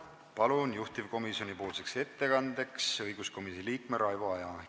Palun juhtivkomisjonipoolseks ettekandeks kõnetooli õiguskomisjoni liikme Raivo Aegi!